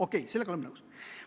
Okei, sellega oleme nõus.